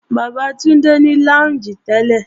Bàbá Túndé ní lọ́únjì tẹ́lẹ̀